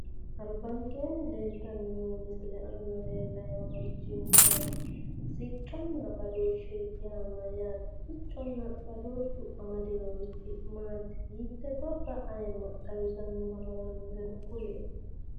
albankeenni leeltanni noo misile aana lellayi noorichi maati? sicconna badooshshe yaa mayyaate? siccunna badooshshu amadinorichi maati? mitte gobba aayiimma xawisannoha lawannoere kulie.